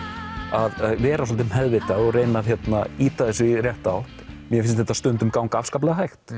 að vera svolítið meðvitað og reyna að ýta þessu í rétta átt mér finnst þetta stundum ganga afskaplega hægt